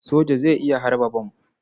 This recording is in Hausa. Soja zai iya harba bam.